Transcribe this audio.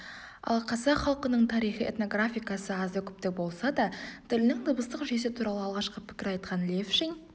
ал қазақ халқының тарихы этнографикасы азды-көпті болса да тілінің дыбыстық жүйесі туралы алғаш пікір айтқан левшин